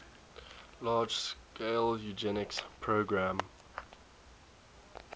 large scale eugenics program